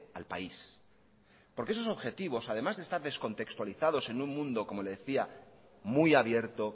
al país porque esos objetivos además de estar descontextualizados en un mundo como le decía muy abierto